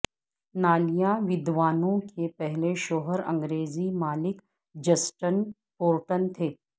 نالیا ویدوانوا کے پہلے شوہر انگریزی مالک جسٹن پورٹن تھے